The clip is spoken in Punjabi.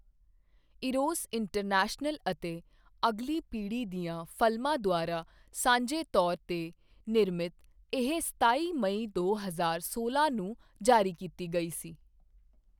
ਈਰੋਸ ਇੰਟਰਨੈਸ਼ਨਲ ਅਤੇ ਅਗਲੀ ਪੀੜ੍ਹੀ ਦੀਆਂ ਫ਼ਲਮਾਂ ਦੁਆਰਾ ਸਾਂਝੇ ਤੌਰ 'ਤੇ ਨਿਰਮਿਤ, ਇਹ ਸਤਾਈ ਮਈ ਦੋ ਹਜ਼ਾਰ ਸੋਲਾਂ ਨੂੰ ਜਾਰੀ ਕੀਤੀ ਗਈ ਸੀ।